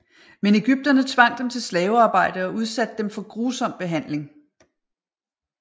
Men egypterne tvang dem til slavearbejde og udsatte dem for grusom behandling